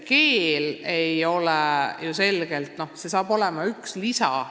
Keele õpetamine on ju selgelt üks nendest ülesannetest.